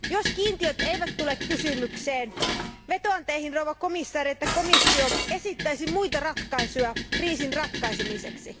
Jos kiintiöt eivät tule kysymykseen, vetoan teihin arvoisa komission jäsen, että komissio esittäisi muita ratkaisuja kriisin ratkaisemiseksi.